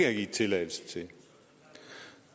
har givet tilladelse til